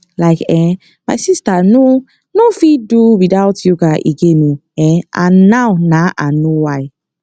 like um my sister nor nor fit do without yoga again o um and now na i know why